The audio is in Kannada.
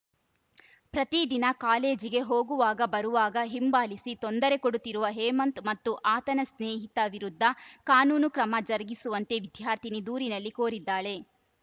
ಪ್ರತಿ ದಿನ ಕಾಲೇಜಿಗೆ ಹೋಗುವಾಗ ಬರುವಾಗ ಹಿಂಬಾಲಿಸಿ ತೊಂದರೆ ಕೊಡುತ್ತಿರುವ ಹೇಮಂತ್‌ ಮತ್ತು ಆತನ ಸ್ನೇಹಿತ ವಿರುದ್ಧ ಕಾನೂನು ಕ್ರಮ ಜರುಗಿಸುವಂತೆ ವಿದ್ಯಾರ್ಥಿನಿ ದೂರಿನಲ್ಲಿ ಕೋರಿದ್ದಾಳೆ